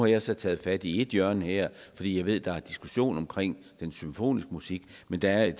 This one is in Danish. jeg så taget fat i ét hjørne her fordi jeg ved der er en diskussion om den symfoniske musik men der er jo